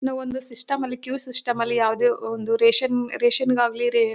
ನಾವೊಂದು ಸಿಸ್ಟಮ್ ಲಿ queue system ಲಿ ಯಾವುದೇ ಒಂದು ರೇಷನ್ ರೇಷನ್ ಗಾಗ್ಲಿ ರೇ--